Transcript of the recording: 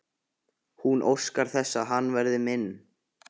Hún óskar þess að hann verði minn.